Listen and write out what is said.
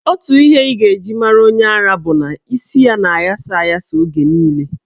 Otu ihe ị ga-eji mara onye ara bụ na isi ya na-aghasa aghasa oge niile.